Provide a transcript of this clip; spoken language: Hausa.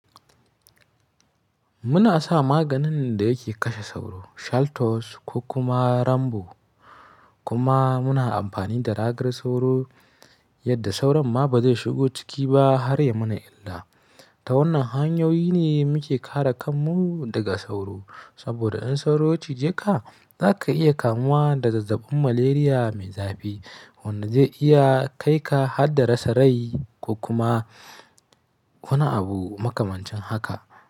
Muna sa maganin da yake kashe sauro, Shaltos ko kuma Rambo. Kuma muna amfani da ragar sauro yadda sauro ma ba zai shigo ciki ba har ya mana illa. Ta wannan hanyoyi ne muke kare kanmu daga sauro. Saboda in sauro ci je ka, za ka iya kamuwa da zazzabin Malaria mai zafi wanda zai iya kai ka har da rasa rai ko kuma wani abu makamancin haka.